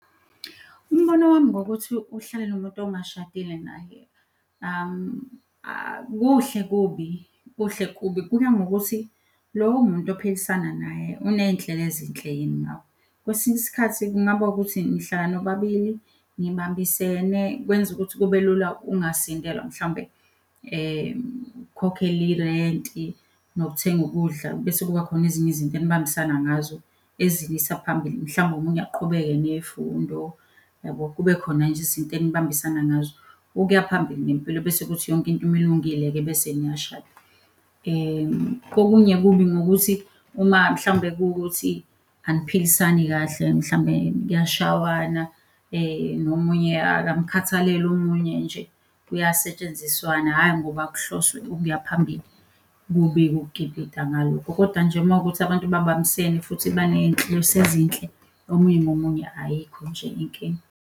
Umbono wami ngokuthi uhlale nomuntu ongashadile naye, kuhle kubi kuhle kubi. Kuya ngokuthi lowo muntu ophilisana naye uneyinhlelo ezinhle yini ngawe. Kwesinye isikhathi kungaba ukuthi nihlala nobabili nibambisene kwenza ukuthi kube lula ungasindelwa mhlawumbe, ukukhokhele irenti nokuthenga ukudla bese kuba khona ezinye izinto enibambisene ngazo eziniyisa phambili. Mhlawumbe omunye aqhubeke ney'fundo, yabo? Kube khona nje izinto enibambisana ngazo ukuya phambili ngempilo bese kuthi yonke into uma ilungile-ke bese niyashada. Kokunye, kubi ngokuthi uma mhlawumbe kuwukuthi aniphilisani kahle, mhlawumbe kuyashawana nomunye akumkhathalele omunye nje kuyasetshenziswana hhayi, ngoba kuhloswe ukuya phambili, kubi-ke ukukipita ngaloko. Kodwa nje uma kuwukuthi abantu babambisene futhi baney'nhloso ezinhle omunye nomunye ayikho nje inkinga.